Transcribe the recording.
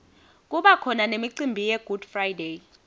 kubakhona nemicimbi yegood friday